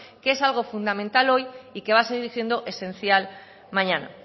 que es algo fundamental hoy y que va a seguir siendo esencial mañana